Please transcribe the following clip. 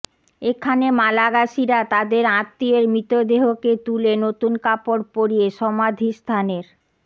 এখানে মালাগাসীরা তাদের আত্মীয়ের মৃতদেহকে তুলে নতুন কাপড় পরিয়ে সমাধিস্থানের